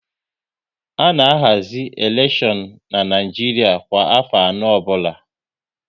A na ahazi elekshon n'Naijiria kwa afọ anọ ọbụla